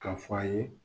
K'a fɔ a ye